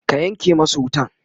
ka Yanke masu wutan!